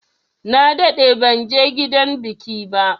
Na daɗe banje gidan biki ba.